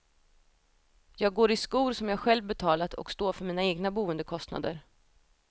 Jag går i skor som jag själv betalat och står för mina egna boendekostnader.